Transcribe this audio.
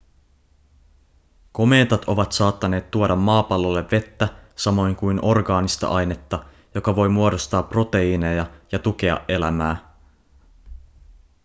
komeetat ovat saattaneet tuoda maapallolle vettä samoin kuin orgaanista ainetta joka voi muodostaa proteiineja ja tukea elämää